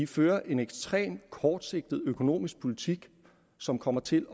fører en ekstremt kortsigtet økonomisk politik som kommer til